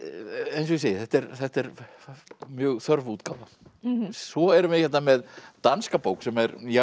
eins og ég segi þetta er þetta er mjög þörf útgáfa svo erum við hér með danska bók sem er mjög